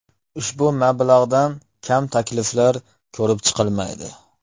Ushbu mablag‘dan kam takliflar ko‘rib chiqilmaydi.